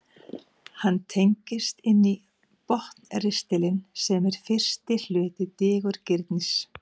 hann tengist inn í botnristilinn sem er fyrsti hluti digurgirnis